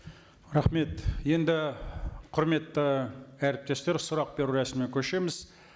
рахмет енді құрметті әріптестер сұрақ беру рәсіміне көшеміз